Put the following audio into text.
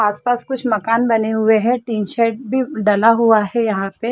आस-पास कुछ मकान बने हुए है टी-शर्ट भी डला हुआ है यहाँ पे --